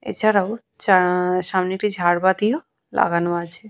এছাড়াও চা-আ সামনে একটি ঝাড়বাতিও লাগানো আছে।